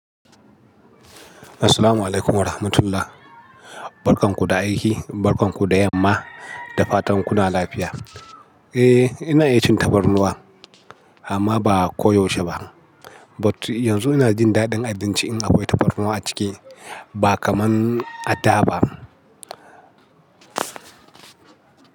Assalamualaikum warahmatullahi. Barkan ku da aiki, barkan ku da yamma da fatan kuna lafiya. Eh, ina iya cin tabarnuwa amma ba a koyaushe ba. But yanzu ina jin daɗin abinci in akwai tabarnuwa a ciki ba kaman a da ba.